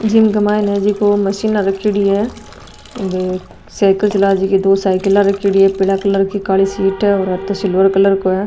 जिम क माइन जिको मशीना रखेडी है साइकल चला जीकी दो साइकला रखेड़ी है पीला कलर की काली सीट है और ओ तो सिल्वर कलर को है।